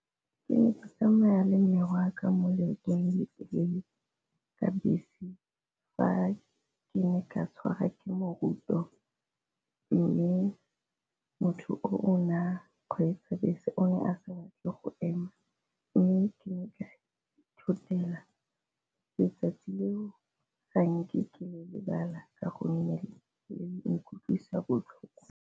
Ke ne ke tsamaya le mme wa ka mo leetong le ka bese, fa ke ne ka tshwara ke moroto mme motho o o na kgweetsa bese o ne a sa batle go ema mme ke ne ka ithotela. Letsatsi leo ga nke ke le lebala, ka gonne le nkutlwisang botlhoko.